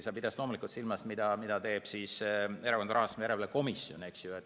Sa pidasid loomulikult silmas seda, mida teeb Erakondade Rahastamise Järelevalve Komisjon, eks ju.